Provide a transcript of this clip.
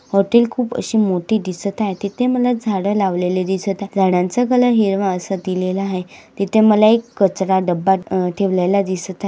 Hotel खूप अशी मोठी दिसत आहे तिथे मला झाडे लावलेले दिसत आहे झाडांचा कलर हिरवा आस दिलेला आहे तिथे मला एक कचरा डब्बा ठेवलेला दिसत आहे.